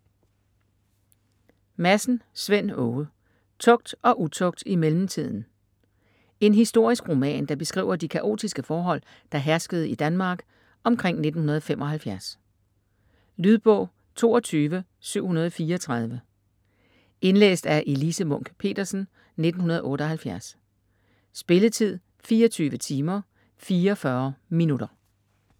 Madsen, Svend Åge: Tugt og utugt i mellemtiden En historisk roman, der beskriver de kaotiske forhold, der herskede i Danmark omkring 1975. Lydbog 22734 Indlæst af Elise Munch-Petersen, 1978. Spilletid: 24 timer, 44 minutter.